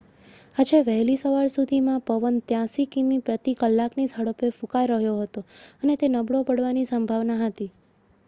આજે વહેલી સવાર સુધીમાં પવન 83 કિમી પ્રતિ કલાકની ઝડપે ફૂંકાઈ રહ્યો હતો અને તે નબળો પડવાની સંભાવના હતી